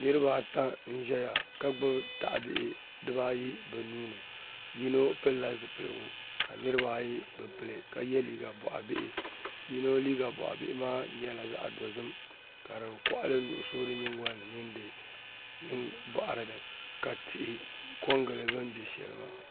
Niraba ata n ʒɛya ka gbubi tahabihi dibaayi bi nuuni yino pilila zipiligu ka niraba ayi bi pili ka yɛ liiga boɣa bihi yino liiga boɣa bihi maa nyɛla liiga dozim ka di koɣali nuɣso di nyingoli ni mini di boɣari ni ka tihi ko n gili bi ni bɛ shɛli maa